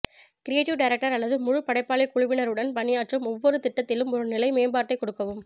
creative director அல்லது முழு படைப்பாளி குழுவினருடன் பணியாற்றும் ஒவ்வொரு திட்டத்திலும் ஒரு நிலை மேம்பாட்டைக் கொடுக்கவும்